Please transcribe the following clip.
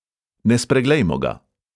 Ne spreglejmo ga!